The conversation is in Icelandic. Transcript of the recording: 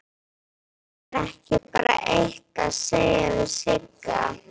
Er ekki bara eitt að segja við Sigga?